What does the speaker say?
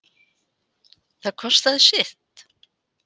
Það kostaði sitt